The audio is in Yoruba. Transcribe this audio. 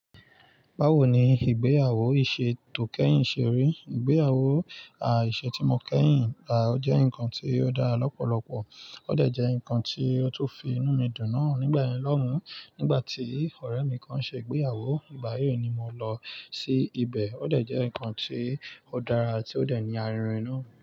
Bawo ni ìgbéyàwó ìṣè tò kẹ́yìn ṣe rí? Ìgbéyàwó, à, ìṣè tí mo kẹ́yìn, à, ó jẹ́ nǹkan tí ó dára lọ́pọ̀lọpọ̀. Ó dẹ̀ jẹ́ nǹkan tí ó tú fi inú mi dùn náà nígbẹ̀yín Ọlọ́run nígbà tí ọ̀rẹ́ mi kan ṣe ìgbéyàwó. Ìgbà yií ni mo lọ sí ibẹ̀. Ó dẹ̀ jẹ́ nǹkan tí ó dára ti ó dẹ̀ ní àrìnrìn náà.